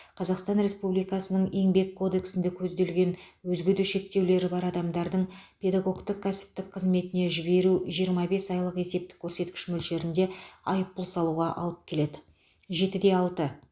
қазақстан республикасының еңбек кодексінде көзделген өзге де шектеулері бар адамдарды педагогтің кәсіптік қызметіне жіберу жиырма бес айлық есептік көрсеткіш мөлшерінде айыппұл салуға алып келеді жетіде алты